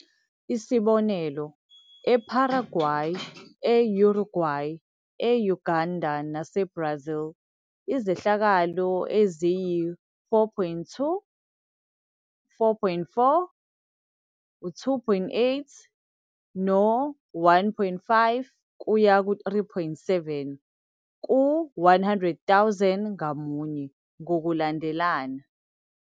Isibonelo, eParaguay, e- Uruguay, e- Uganda naseBrazil izehlakalo eziyi-4.2, 4.4, 2.8 no-1.5-3.7 ku-100,000 ngamunye, ngokulandelana.